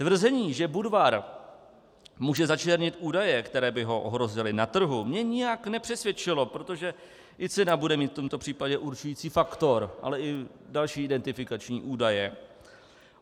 Tvrzení, že Budvar může začernit údaje, které by ho ohrozily na trhu, mě nijak nepřesvědčilo, protože i cena bude mít v tomto případě určující faktor, ale i další identifikační údaje.